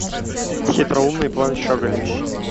хитроумный план щеголей